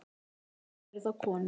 Auðvitað eru það konur.